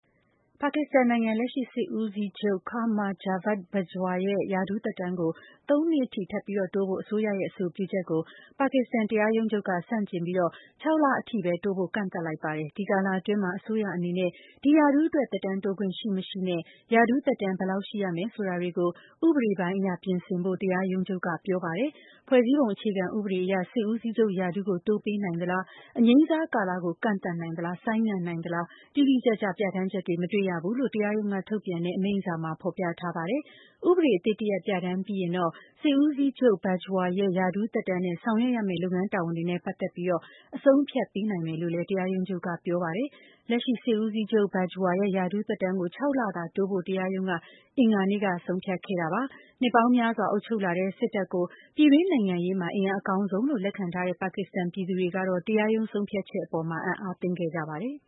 ပါကစ္စတန်နိုင်ငံ လက်ရှိ စစ်ဦးစီးချုပ် Qamar Javed Bajwa ရဲ့ ရာထူးသက်တမ်းကို ၃ နှစ်အထိ ထပ်တိုးဖို့ အစိုးရရဲ့ အဆိုပြုချက်ကို ပါကစ္စတန် တရားရုံးချုပ်က ဆန့်ကျင်ပြီး ၆ လအထိပဲ တိုးဖို့ ကန့်သတ်လိုက်ပါတယ်။ ဒီကာလအတွင်း အစိုးရအနေနဲ့ ဒီရာထူးအတွက် သက်တမ်းတိုးခွင့်ရှိမရှိနဲ့ ရာထူးသက်တမ်း ဘယ်လောက်ရှိရမယ် ဆိုတာတွေကို ဥပဒေပိုင်းအရ ပြင်ဆင်ဖို့ တရားရုံးချုပ်က ပြောပါတယ်။ ဖွဲ့စည်းပုံအခြေခံဥပဒေအရ စစ်ဦးစီးချုပ်ရာထူးကို တိုးပေးနိုင်သလား၊ အငြိမ်းစားကာလကို ကန့်သတ်နိုင်သလား၊ ဆိုင်းငံ့နိုင်သလား တိတိကျကျ ပြဋ္ဌာန်းချက် မတွေ့ဘူးလို့ တရားရုံးက ထုတ်ပြန်တဲ့ အမိန့်စာမှာ ဖော်ပြထားပါတယ်။ ဥပဒေအသစ်တရပ် ပြဋ္ဌာန်းပြီးရင်တော့ စစ်ဦးစီးချုပ် Bajwa ရဲ့ ရာထူးသက်တမ်းနဲ့ ဆောင်ရွက်ရမယ့် လုပ်ငန်းတာဝန်တွေနဲ့ ပတ်သက်ပြီး အဆုံးအဖြတ် ပေးနိုင်မယ်လို့ တရားရုံးချုပ်က ပြောပါတယ်။ လက်ရှိစစ်ဦးစီးချုပ် Bajwa ရဲ့ ရာထူးသက်တမ်းကို ၆ လသာ တိုးဖို့ကို တရားရုံးက အင်္ဂါနေ့က ဆုံးဖြတ်ခဲ့တာပါ။ နှစ်ပေါင်းများစွာ အုပ်ချုပ်လာခဲ့တဲ့ စစ်တပ်ကို ပြည်တွင်းနိုင်ငံရေးမှာ အင်အားအကောင်းဆုံးလို့ လက်ခံထားတဲ့ ပါကစ္စတန် ပြည်သူတွေကတော့ တရားရုံး ဆုံးဖြတ်ချက်အပေါ် အံ့အားသင့်ခဲ့ကြပါတယ်။